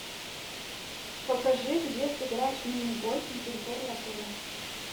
покажи где сыграть в мини гольф на территории отеля